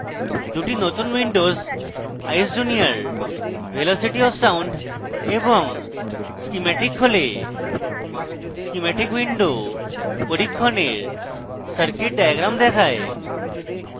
দুটি নতুন windows eyes junior: velocity of sound এবং schematic খোলে schematic windows পরীক্ষণের circuit diagram দেখায়